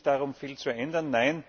Es geht nicht darum, viel zu ändern.